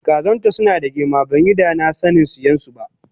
Kazanta sunada girma banyi danasanin siyansu ba